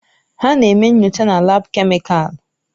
Ha na-eme nyocha na laabu kemịkalụ.